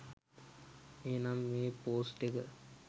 එහෙමනම් මේ පොස්ට් එක